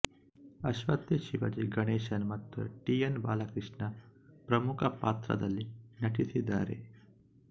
ಅಶ್ವಥ್ಶಿವಾಜಿ ಗಣೇಶನ್ ಮತ್ತು T N Balakrishna ಪ್ರಮುಖ ಪಾತ್ರದಲ್ಲಿ ನಟಿಸಿದ್ದಾರೆ